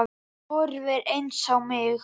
Þú horfir eins á mig.